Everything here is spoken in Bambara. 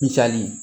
Misali